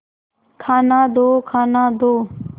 खाना दो खाना दो